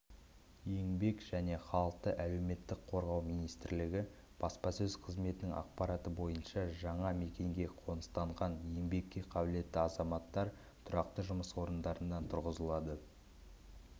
еңбек және халықты әлеуметтік қорғау министрлігі баспасөз қызметінің ақпараты бойынша жаңа мекенге қоныстанған еңбекке қабілетті азаматтар тұрақты жұмыс орындарына тұрғызылады